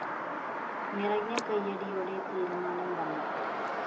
നിറഞ്ഞ കയ്യടിയോടെ തീരുമാനം വന്നു